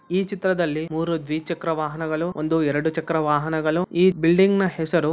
ಈ ಚಿತ್ರದಲ್ಲಿ ಮೂರು ದ್ವಿಚಕ್ರ ವಾಹನಗಳು ಒಂದು ಎರೆಡು ಚಕ್ರ ವಾಹನಗಳು ಈ ಬಿಲ್ಡಿಂಗನ ಹೆಸರು--